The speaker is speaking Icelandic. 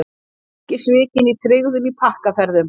Ekki svikin í tryggðum í pakkaferðum